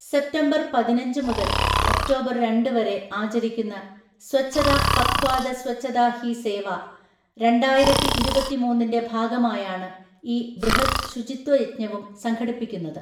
September പതിനഞ്ച് മുതല്‍ October‍ രണ്ട് വരെ ആചരിക്കുന്ന സ്വച്ഛത പഖ്വാദ സ്വച്ഛതാ ഹി സേവ രണ്ടായിരത്തിഇരുപത്തിമൂന്നിന്‍റെ ഭാഗമായാണ് ഈ ബൃഹദ് ശുചിത്വയജ്ഞവും സംഘടിപ്പിക്കുന്നത്.